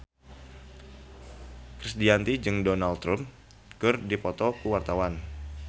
Krisdayanti jeung Donald Trump keur dipoto ku wartawan